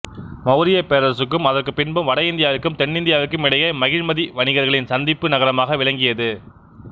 மௌரியப் பேரரசுக்கும் அதற்குப் பின்பும் வட இந்தியாவிற்கும் தென்னிந்தியாவிற்கும் இடையே மகிழ்மதி வணிகர்களின் சந்திப்பு நகரமாக விளங்கியது